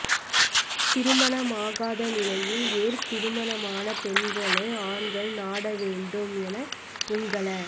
திருமணமாகாத நிலையில் ஏன் திருமணமான பெண்களை ஆண்கள் நாட வேண்டும் என உங்கள